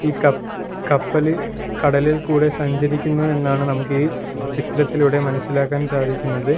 ഈ കപ്പ് കപ്പല് കടലിൽ കൂടെ സഞ്ചരിക്കുന്നു എന്നാണ് നമുക്ക് ഈ ചിത്രത്തിലൂടെ മനസ്സിലാക്കാൻ സാധിക്കുന്നത്.